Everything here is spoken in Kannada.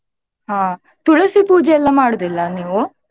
ಹಾ ತುಳಸಿ ಪೂಜೆ ಎಲ್ಲ ಮಾಡುದಿಲ್ಲಾ ನೀವು?